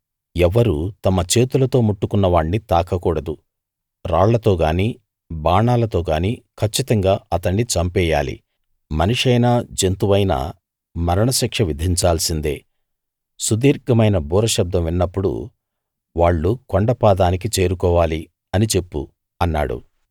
ఎవ్వరూ తమ చేతులతో ముట్టుకున్న వాణ్ణి తాకకూడదు రాళ్ళతో గానీ బాణాలతో గానీ కచ్చితంగా అతణ్ణి చంపెయ్యాలి మనిషైనా జంతువైనా మరణ శిక్ష విధించాల్సిందే సుదీర్ఘమైన బూర శబ్దం వినినప్పుడు వాళ్ళు కొండ పాదానికి చేరుకోవాలి అని చెప్పు అన్నాడు